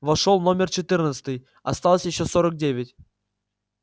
вошёл номер четырнадцатый осталось ещё сорок девять